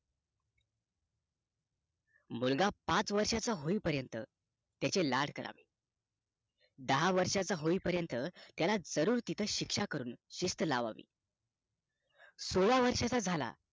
मुलगा पाच वर्ष चा होई पर्यत त्याचे लाड करावे दहा वर्षाचा होई पर्यत जरूर तिथे शिक्षा करून शिस्त लावावी सोळा वर्षाचा झाला